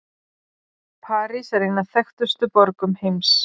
París er ein af þekktustu borgum heims.